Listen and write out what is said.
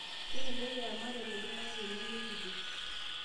Kelelek eya malaria iltung'ana tenemerripo